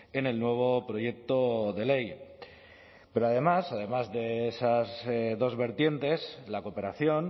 en el nuevo proyecto de ley pero además además de esas dos vertientes la cooperación